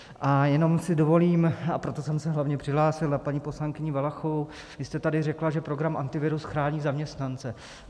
A jenom si dovolím, a proto jsem se hlavně přihlásil, na paní poslankyni Valachovou: vy jste tady řekla, že program Antivirus chrání zaměstnance.